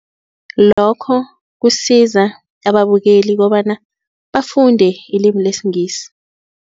Lokho kusiza ababukeli kobana bafunde ilimu lesingisi.